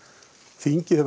þingið hefur